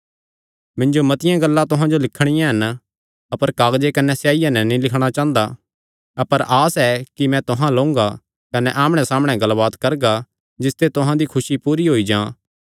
मिन्जो मतिआं गल्लां तुहां जो लिखणियां हन अपर कागज कने स्याईया नैं नीं लिखणा चांह़दा अपर आस ऐ कि मैं तुहां अल्ल ओंगा कने आमणैसामणै गल्लबात करगा जिसते तुहां दी खुसी पूरी होई जां